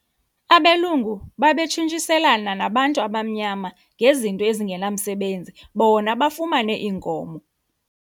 Abelungu babetshintshiselana nabantu abamnyama ngezinto ezingenamsebenzi bona bafumane iinkomo.